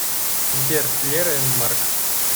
сбер лера энд марк